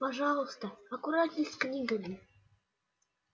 пожалуйста аккуратней с книгами